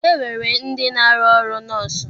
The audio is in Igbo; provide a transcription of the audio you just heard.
E nwere ndị na-arụ ọrụ nọọsụ.